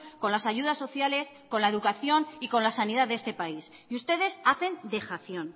con las ayudas sociales con la educación y con la sanidad de este país y ustedes hacen dejación